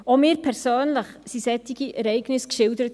Auch mir persönlich wurden solche Ereignisse geschildert.